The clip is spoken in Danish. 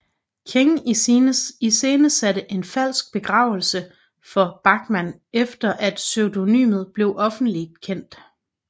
King iscenesatte en falsk begravelse for Bachman efter at pseudonymet blev offentligt kendt